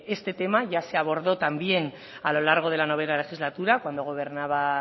este tema ya se abordó también a lo largo de la noveno legislatura cuando gobernaba